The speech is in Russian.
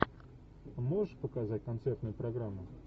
можешь показать концертную программу